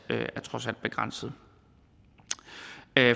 begrænsede